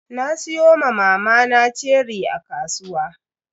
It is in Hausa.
Na siyo ma mamana ceri a kasuwa.